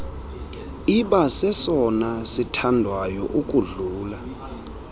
ibasesona sithandwayo ukudlula